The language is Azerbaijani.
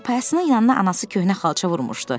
Çarpayısının yanına anası köhnə xalça vurmuşdu.